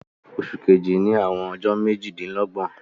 Òṣù kẹ̀jì ní àwọn ọjọ̀ méjìdínlọ́gbọ̀n